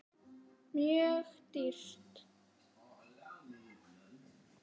Mjög dýrt.